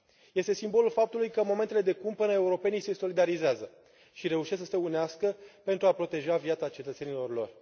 Este simbolul faptului că, în momentele de cumpănă, europenii se solidarizează și reușesc să se unească pentru a proteja viața cetățenilor lor.